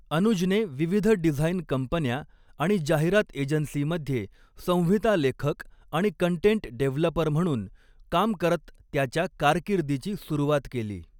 अनुजने विविध डिझाईन कंपन्या आणि जाहिरात एजन्सीमध्ये संहिता लेखक आणि कंटेंट डेव्हलपर म्हणून काम करत त्याच्या कारकिर्दीची सुरुवात केली.